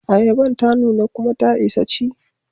Ayaban ta nuna kuma ta isa ci.